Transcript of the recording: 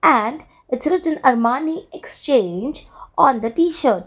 and its written armani exchange on the T-shirt.